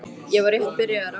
Ég var rétt byrjaður á henni.